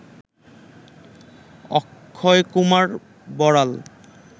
Akshay Kumar Boral